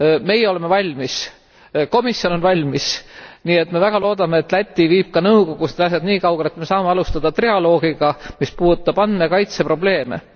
Meie oleme valmis, komisjon on valmis, nii et me väga loodame, et Läti viib ka nõukogus need asjad niikaugele, et me saame alustada trialoogiga, mis puudutab andmekaitse probleeme.